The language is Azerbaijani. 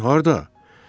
Harada?